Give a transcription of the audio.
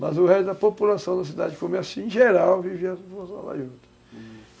mas o resto da população da cidade, uhum